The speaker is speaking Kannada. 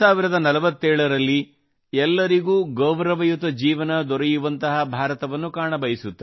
2047 ರಲ್ಲಿ ಎಲ್ಲರಿಗೂ ಗೌರವಯುತ ಜೀವನ ದೊರೆಯುವಂತಹ ಭಾರತವನ್ನು ಕಾಣಬಯಸುತ್ತಾರೆ